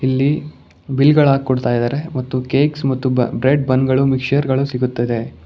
ಇಲ್ಲಿ ಬಿಲ್ ಗಳ ಹಾಕ್ಕೊಡತ್ತಿದ್ದಾರೆ ಮತ್ತು ಕೇಕ್ಸ್ ಮತ್ತು ಬ್ರೆಡ್ ಬನ್ ಗಳು ಮಿಕ್ಸ್ಚರ್ ಗಳು ಸಿಗುತ್ತದೆ.